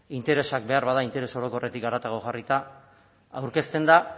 interesak behar bada interes orokorretik haratago jarrita aurkezten da